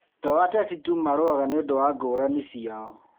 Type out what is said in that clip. To ateti tu marũaga nĩũndũ wa ngũrani ciao